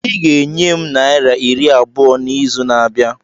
Ị ga-enye m naira iri abụọ n'izu na-abịa!